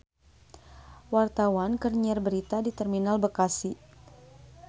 Wartawan keur nyiar berita di Terminal Bekasi